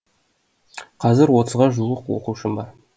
қазір отызға жуық оқушым бар